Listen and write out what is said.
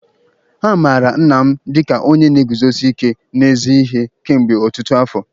A maara nna m dịka onye na-eguzosi ike n'ezi ihe kemgbe ọtụtụ afọ.